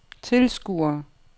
tilskuere